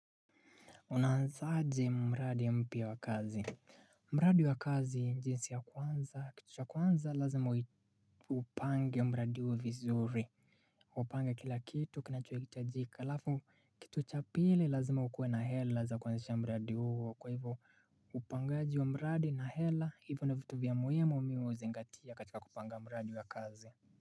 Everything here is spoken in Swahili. Unaanzaje mradi mpya wa kazi mradi wa kazi jinsi ya kwanza kitu cha kwanza lazima upange mradi huo vizuri Upange kila kitu kinacho hitajika alafu kitu cha pili lazima ukue na hela za kwanzisha mradi huo kwa hivyo upangaji wa mradi na hela hivyo ni vitu vya muhimu mi uzingatia katika kupanga mradi wa kazi.